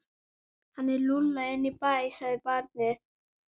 Hann er lúlla inn í bæ, sagði barnið.